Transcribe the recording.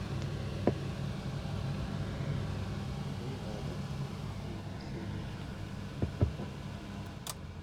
бригада третья серия